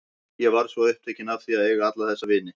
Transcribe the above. Ég varð svo upptekin af því að eiga alla þessa vini.